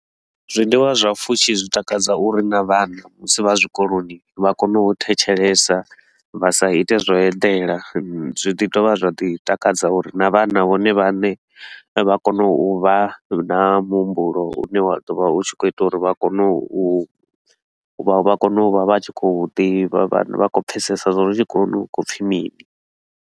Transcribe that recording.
Zwiḽiwa zwa pfushi zwi takadza uri na vhana musi vha zwikoloni vha kone u thetshelesa, vha sa ite zwa u eḓela. Zwi ḓi dovha zwa ḓi takadza uri na vhana vhone vhaṋe vha kone u vha na muhumbulo u ne wa ḓo vha u tshi khou ita uri vha kone u vha kone u vha vha tshi khou ḓivha, vha kho pfesesa zwa uri tshikoloni hu khou pfi mini.